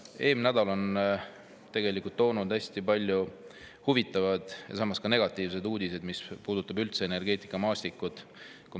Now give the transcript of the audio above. Eelmine nädal tõi hästi palju huvitavaid ja samas ka negatiivseid uudiseid, mis puudutavad energeetikamaastikku.